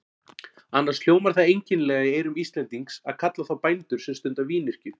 Annars hljómar það einkennilega í eyrum Íslendings að kalla þá bændur sem stunda vínyrkju.